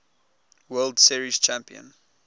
world series champion